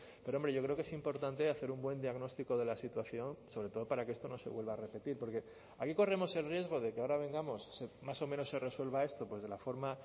pero hombre yo creo que es importante hacer un buen diagnóstico de la situación sobre todo para que esto no se vuelva a repetir porque aquí corremos el riesgo de que ahora vengamos más o menos se resuelva esto de la forma